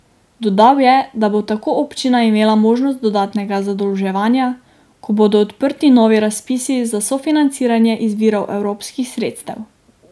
Dodal je, da bo tako občina imela možnost dodatnega zadolževanja, ko bodo odprti novi razpisi za sofinanciranje iz virov evropskih sredstev.